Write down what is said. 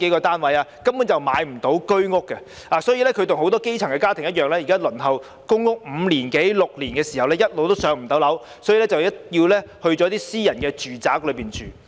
市民根本買不到居屋，他們現在跟很多基層家庭一樣，輪候公屋五六年也一直無法"上樓"，所以便要轉向私人住宅市場。